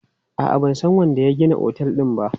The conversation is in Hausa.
A'a, ban san wanda ya gina otel din ba.